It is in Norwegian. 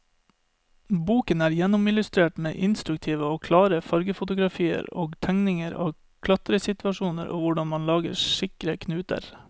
Boken er gjennomillustrert med instruktive og klare fargefotografier og tegninger av klatresituasjoner og hvordan man lager sikre knuter.